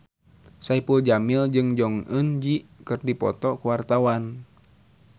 Saipul Jamil jeung Jong Eun Ji keur dipoto ku wartawan